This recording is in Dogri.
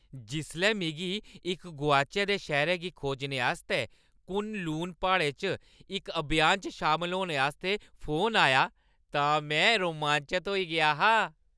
जिसलै मिगी इक गोआचै दे शैह्‌रै गी खोजने आस्तै कुन-लून प्हाड़ें च इक अभियान च शामल होने आस्तै फोन आया तां में रोमांचत होई गेआ हा।